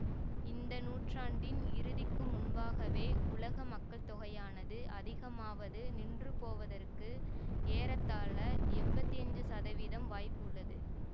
இந்த நூற்றாண்டின் இறுதிக்கு முன்பாகவே உலக மக்கள்தொகையானது அதிகமாவது நின்றுபோவதற்கு ஏறத்தாழ எம்பத்தி அஞ்சு சதவீதம் வாய்ப்புள்ளது